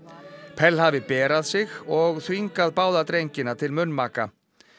pell hafi berað sig og þvingað báða drengina til munnmaka